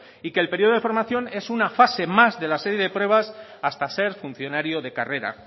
y que el periodo de formación es una fase más de la serie de pruebas hasta ser funcionario de carrera